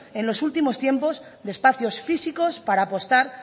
en los últimos tiempos de espacios físicos para apostar